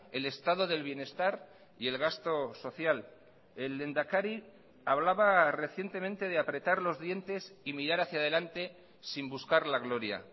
el estado del bienestar y el gasto social el lehendakari hablaba recientemente de apretar los dientes y mirar hacia delante sin buscar la gloria